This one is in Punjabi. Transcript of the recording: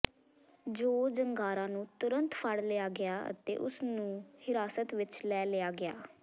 ਜੋਅ ਜ਼ੰਗਾਰਾ ਨੂੰ ਤੁਰੰਤ ਫੜ ਲਿਆ ਗਿਆ ਅਤੇ ਉਸਨੂੰ ਹਿਰਾਸਤ ਵਿਚ ਲੈ ਲਿਆ ਗਿਆ